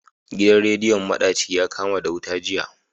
Gidan rediyon madaci yakama da wuta jiya.